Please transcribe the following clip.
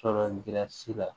Sɔrɔsi la